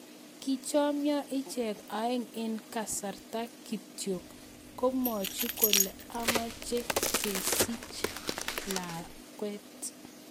Kichomio ichek aeng eng' kasarta kityo komwochi kole amache kesich lakwet.